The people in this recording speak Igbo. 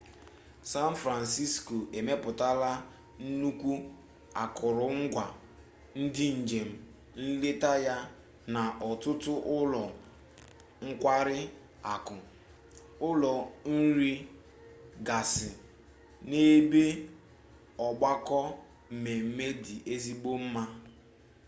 san francisco emepụtala nnukwu akụrụngwa ndị njem nleta ya na ọtụtụ ụlọ nkwarị akụ ụlọ nri gasị na ebe ọgbakọ mmemme dị ezigbo mma